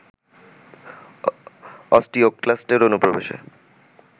অস্টিওক্লাস্টের অনুপ্রবেশে